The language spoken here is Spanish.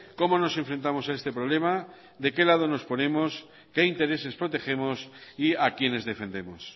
cómo nos enfrentamos a este problema de qué lado nos ponemos qué intereses protegemos y a quiénes defendemos